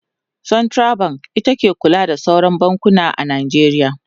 central bank ita ke kula da sauran bankuna a Najeriya